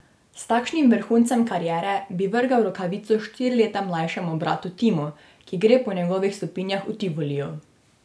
S takšnim vrhuncem kariere bi vrgel rokavico štiri leta mlajšemu bratu Timu, ki gre po njegovih stopinjah v Tivoliju.